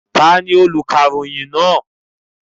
Ta ni olùkàròyìn náà?